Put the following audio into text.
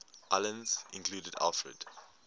islands included alfred